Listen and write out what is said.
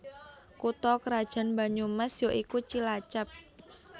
Kutha krajan Banyumas ya iku Cilacap